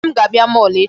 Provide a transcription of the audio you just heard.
Nne m ga-abịa mall echi.